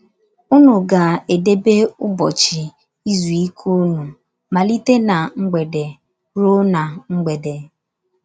Ụnu gá- edebe ụbọchị izu ike ụnụ malite ná mgbede ruo ná mgbede. ”